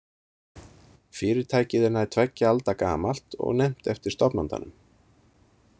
Fyrirtækið er nær tveggja alda gamalt og nefnt eftir stofnandanum.